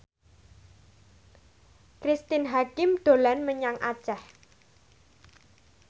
Cristine Hakim dolan menyang Aceh